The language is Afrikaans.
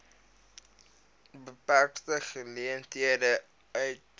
beperkte geleenthede uitgestyg